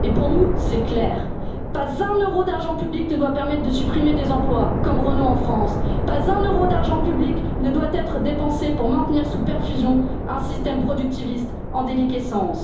diriger. Pour nous, c'est clair pas un euro d'argent public ne doit permettre de supprimer des emplois, comme Renault en France, pas un euro d'argent public ne doit être dépensé pour maintenir sous perfusion un système productiviste en déliquescence.